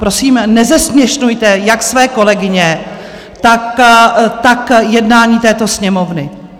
Prosím, nezesměšňujte jak své kolegyně, tak jednání této Sněmovny.